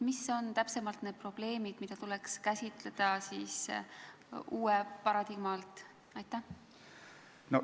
Mis on täpsemalt need probleemid, mida tuleks siis uue paradigma alt käsitleda?